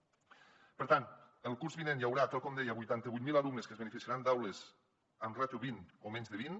per tant el curs vinent hi haurà tal com deia vuitanta vuit mil alumnes que es beneficiaran d’aules amb ràtio vint o menys de vint